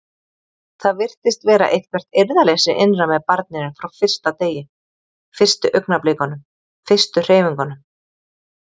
Það virtist vera eitthvert eirðarleysi innra með barninu frá fyrsta degi, fyrstu augnablikunum, fyrstu hreyfingunum.